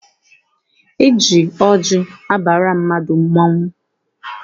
E ji ọjị abara mmadụ mmọnwụ.